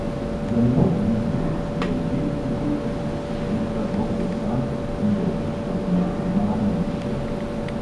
Zanimiv gnezdilec je veliki detel, ki si dupla dolbe sam in ga uvrščamo med primarne duplarje.